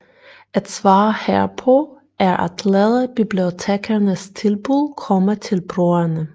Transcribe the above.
Et svar herpå er at lade bibliotekernes tilbud komme til brugerne